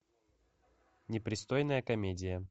непристойная комедия